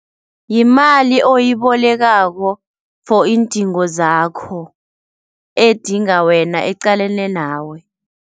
Yimali oyibolekako for iindingo zakho edinga wena eqalene nawe.